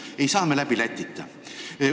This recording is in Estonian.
Ei saa me läbi Lätita.